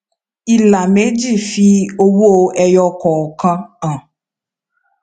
ìlà méjì fi iye owó ẹyọ kọọkan hàn